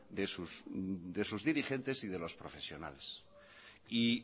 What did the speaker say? de sus dirigentes y de los profesionales